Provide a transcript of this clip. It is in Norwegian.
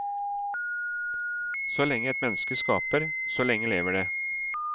Så lenge et menneske skaper, så lenge lever det.